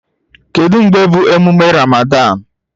Kedu mgbe bụ emume Ramadan?